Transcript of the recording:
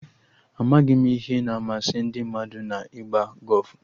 Amaghị m ihe na-amasị ndị mmadụ na-ịgba gọfụ